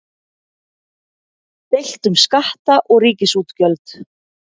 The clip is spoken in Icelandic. Deilt um skatta og ríkisútgjöld